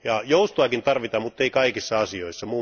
Joustoakin tarvitaan, muttei kaikissa asioissa.